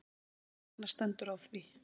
Hvers vegna stendur á því?